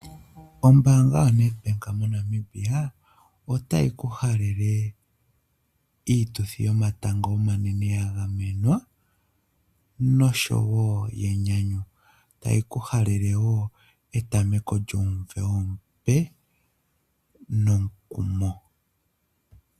Ombaanga yo Nedbank mo Namibia otayi ku halele iituthi yomatango omanene ya ga menwa nosho wo yenyanyu. Tayi ku halele wo etameko lyomuvo omupe nomukumo.